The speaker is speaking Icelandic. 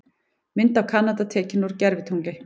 Mynd af Kanada tekin úr gervitungli.